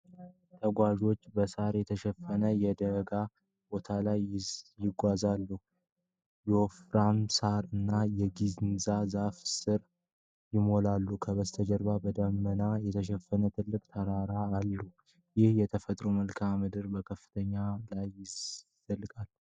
ተጓዦች በሳር የተሸፈኑ የደጋ ቦታዎች ላይ ይጓዛሉ። የወፍራም ሣር እና የጊንዛ ዛፎች ስፍራውን ይሞላሉ። ከበስተጀርባ በደመና የተሸፈኑት ትላልቅ ተራሮች አሉ። ይህ የተፈጥሮ መልክዓ ምድር በከፍተኛ ከፍታ ላይ ይዘልቃል።